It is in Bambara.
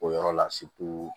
O yɔrɔ la